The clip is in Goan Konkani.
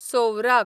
सोवराक